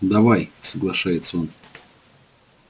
давай соглашается он